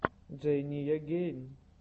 джейния гейн